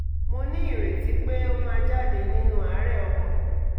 mo ní ìrètí pé ó máa jáde nínú àárẹ̀ ọkàn